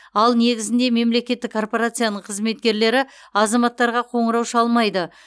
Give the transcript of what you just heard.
ал негізінде мемлекеттік корпорацияның қызметкерлері азаматтарға қоңырау шалмайды